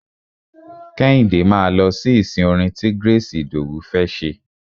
Kẹ́hìndé máa lọ sí ìsìn orin ti Grace Idowu fẹ́ ṣe.